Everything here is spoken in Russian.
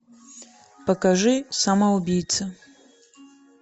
покажи самоубийца